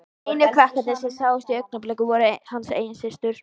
Einu krakkarnir sem sáust í augnablikinu voru hans eigin systur.